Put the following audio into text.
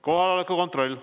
Kohaloleku kontroll.